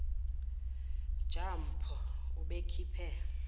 ja mpho ubekhiphe